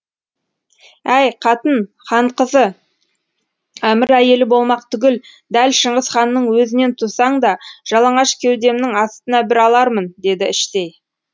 әй қатын хан қызы әмір әйелі болмақ түгіл дәл шыңғыс ханның өзінен тусаң да жалаңаш кеудемнің астына бір алармын деді іштей